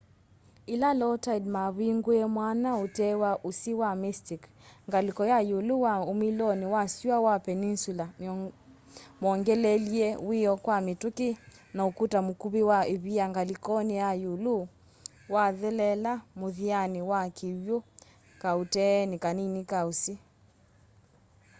yĩla low tide mavingũie mwanya ũtee wa ũsĩ wa mystic ngalĩko ya ĩũlĩ wa umĩloni wa syũa wa peninsula mongeleelie wiio kwa mĩtũkĩ na ũkũta mũkuvĩ wa ĩvia ngalĩkonĩ ya ĩũlũ wathelela mũthianĩ wa kĩw'ũ kaũteenĩ kanini ka ũsĩ